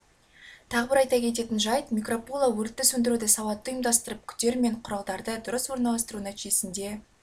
тағы бір айта кететін жайт микропуло өртті сөндіруді сауатты ұйымдастырып күтер мен құралдарды дұрыс орналастыру нәтижесінде